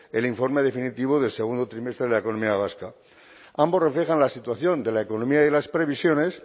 el informe definitivo del segundo trimestre de la economía vasca ambos reflejan la situación de la economía y las previsiones